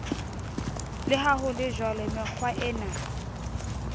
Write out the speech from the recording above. le ha ho lejwalo mekgwaena